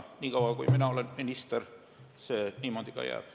Niikaua, kui mina olen minister, see niimoodi ka jääb.